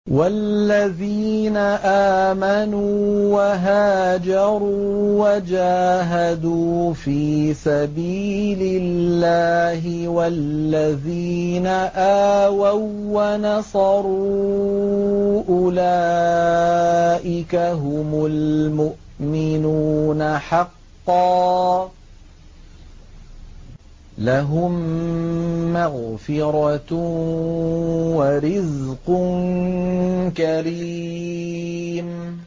وَالَّذِينَ آمَنُوا وَهَاجَرُوا وَجَاهَدُوا فِي سَبِيلِ اللَّهِ وَالَّذِينَ آوَوا وَّنَصَرُوا أُولَٰئِكَ هُمُ الْمُؤْمِنُونَ حَقًّا ۚ لَّهُم مَّغْفِرَةٌ وَرِزْقٌ كَرِيمٌ